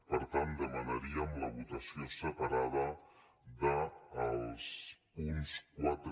per tant demanaríem la votació separada dels punts quatre